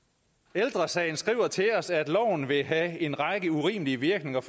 ældre sagen skriver til os at loven vil have en række urimelige virkninger